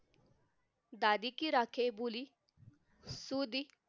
दादीकी राके भुली सुदी